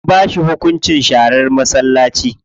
An ba shi hunkunci sharar masallaci.